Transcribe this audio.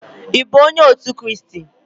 ị bụ onye otu Kraịst?